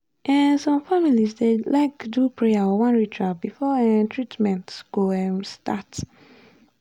um some families dey like do prayer or one ritual before um treatment go um treatment go start. um